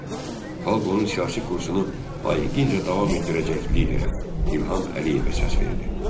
Xalq onun siyasi kursunu layiqincə davam etdirəcək liderə, İlham Əliyevə səs verdi.